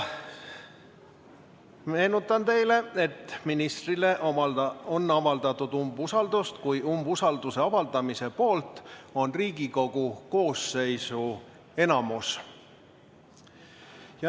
Meenutan teile, et ministrile on avaldatud umbusaldust siis, kui umbusalduse avaldamise poolt on Riigikogu koosseisu enamus.